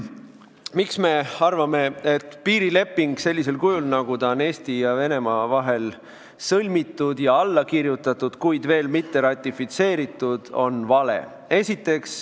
Miks me arvame, et piirileping sellisel kujul, nagu ta on Eesti ja Venemaa vahel sõlmitud ja alla kirjutatud, kuid veel mitte ratifitseeritud, on vale?